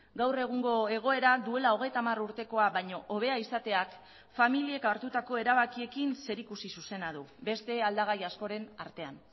gaur egungo egoera duela hogeita hamar urtekoa baino hobea izateak familiek hartutako erabakiekin zerikusi zuzena du beste aldagai askoren artean